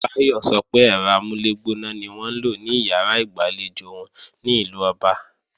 Báyọ̀ sọ pé ẹ̀rọ amúlẹ̀gbóná ni wọ́n ń lò ní ìyàrá ìgbàlejò wọn ní UK